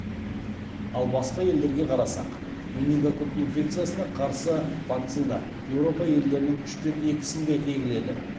ал басқа елдерге қарасақ менингококк инфекциясына қарсы вакцина еуропа елдерінің үштен екісінде егіледі